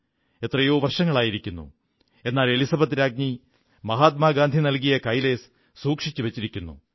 എത്രയോ വർഷങ്ങളായിരിക്കുന്നു എന്നാൽ എലിസബത്ത് രാജ്ഞി മഹാത്മാഗാന്ധി നൽകിയ കൈലേസ് സൂക്ഷിച്ചു വച്ചിരിക്കുന്നു